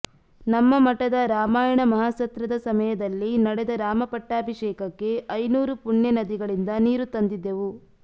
ನಮ್ಮ ಮಠದ ರಾಮಾಯಣ ಮಹಾಸತ್ರದ ಸಮಯದಲ್ಲಿ ನಡೆದ ರಾಮಪಟ್ಟಾಭಿಷೇಕಕ್ಕೆ ಐನೂರು ಪುಣ್ಯ ನದಿಗಳಿಂದ ನೀರು ತಂದಿದ್ದೆವು